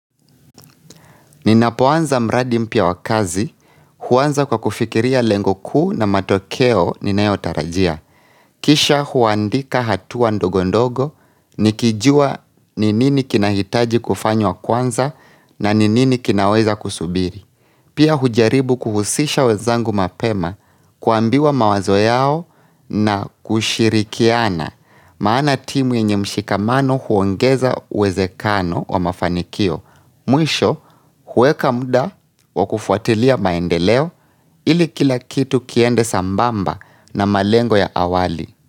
Ninapoanza mradi mpya wa kazi, huanza kwa kufikiria lengo kuu na matokeo ninayo tarajia. Kisha huandika hatua ndogo ndogo, nikijua ninini kinahitaji kufanywa kwanza na ninini kinaweza kusubiri. Pia hujaribu kuhusisha wenzangu mapema kuambiwa mawazo yao na kushirikiana maana timu yenye mshikamano huongeza uwezekano wa mafanikio. Mwisho huweka muda wa kufuatilia maendeleo ili kila kitu kiende sambamba na malengo ya awali.